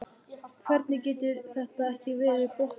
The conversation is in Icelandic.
Hvernig getur þetta ekki verið brottvísun?